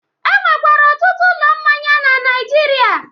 E nwekwara ọtụtụ ụlọ mmanya na Naịjirịa